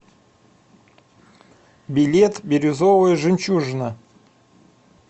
билет бирюзовая жемчужина